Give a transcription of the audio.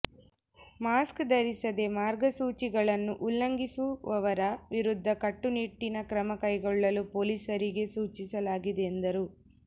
mask ಧರಿಸದೇ ಮಾರ್ಗಸೂಚಿಗಳನ್ನು ಉಲ್ಲಂಘಿಸುವವರ ವಿರುದ್ಧ ಕಟ್ಟುನಿಟ್ಟಿನ ಕ್ರಮ ಕೈಗೊಳ್ಳಲು ಪೊಲೀಸರಿಗೆ ಸೂಚಿಸಲಾಗಿದೆ ಎಂದರು